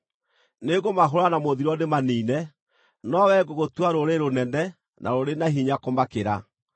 Nĩngũmahũũra na mũthiro ndĩmaniine, no wee ngũgũtua rũrĩrĩ rũnene na rũrĩ na hinya kũmakĩra.”